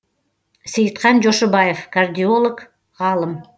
сейітхан жошыбаев кардиолог ғалым